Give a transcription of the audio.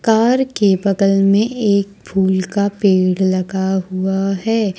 Car के बगल में एक फूल का पेड़ लगा हुआ है।